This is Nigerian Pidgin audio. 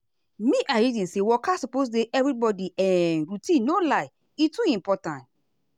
me i reason say waka suppose dey everybody um routine no lie e too important.